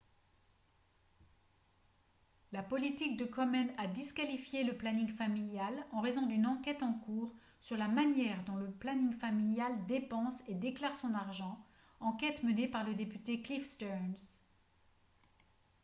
la politique de komen a disqualifié le planning familial en raison d'une enquête en cours sur la manière dont le planning familial dépense et déclare son argent enquête menée par le député cliff stearns